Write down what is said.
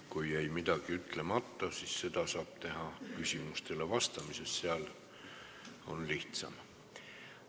Kui jäi midagi ütlemata, siis seda saab teha küsimustele vastates, nii on lihtsam.